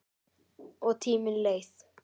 Og tíminn leið.